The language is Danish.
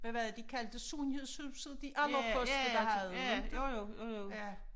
Hvad var det de kaldte det sundhedshuset de allerførste der havde det inte ja